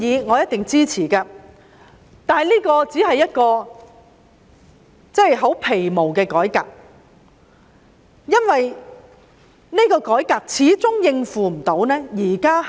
我一定會支持這個建議，但這只是十分皮毛的改革，因為司法機構始終無法應付目前大量積壓的案件。